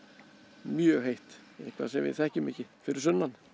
mjög heitt eitthvað sem við þekkjum ekki fyrir sunnan